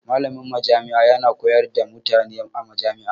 Malamin majami'a yana koyar da mutane a majami'a.